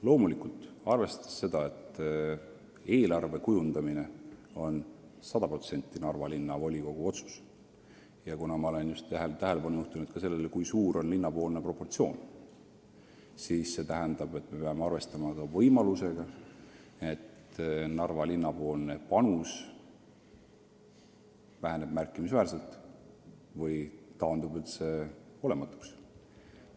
Loomulikult, kuna eelarve kujundamine on sada protsenti Narva Linnavolikogu otsus – ja ma olen tähelepanu juhtinud ka sellele, kui suur on linna osakaal eelarves –, siis me peame arvestama ka võimalusega, et Narva linna panus väheneb märkimisväärselt või taandub üldse olematuks.